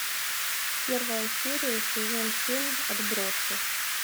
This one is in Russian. первая серия сезон семь отбросы